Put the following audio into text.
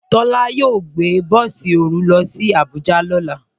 Tola yóò gbẹ̀ bọ̀sì orú ló sì Àbújà lọ́lá.